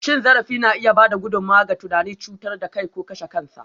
Cin zarafi na iya ba da gudummawa ga tunanin cutar da kai ko kashe kansa.